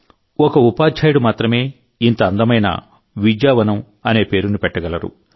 ఒక ఉపాధ్యాయుడు మాత్రమే ఇంత అందమైన విద్యావనం అనే పేరును పెట్టగలడు